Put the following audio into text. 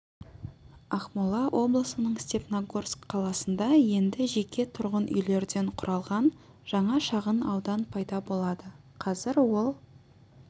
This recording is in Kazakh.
ақмола облысының степногорск қаласында енді жеке тұрғын үйлерден құралған жаңа шағын аудан пайда болады қазір ол